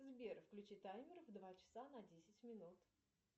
сбер включи таймер в два часа на десять минут